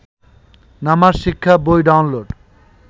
নামাজ শিক্ষা বই ডাউনলোড